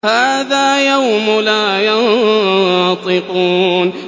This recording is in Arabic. هَٰذَا يَوْمُ لَا يَنطِقُونَ